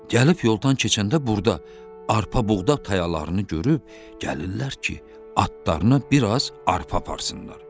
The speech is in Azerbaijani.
Gəlib yoldan keçəndə burda arpa buğda tayalarını görüb, gəlirlər ki, atlarına biraz arpa aparsınlar.